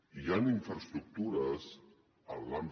hi han infraestructures en l’àmbit